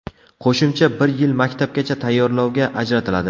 Qo‘shimcha bir yil maktabgacha tayyorlovga ajratiladi.